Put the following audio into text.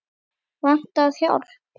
Vantar hjálp.